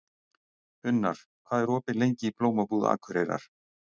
Unnar, hvað er opið lengi í Blómabúð Akureyrar?